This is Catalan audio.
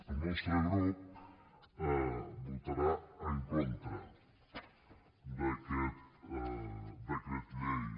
el nostre grup votarà en contra d’aquest decret llei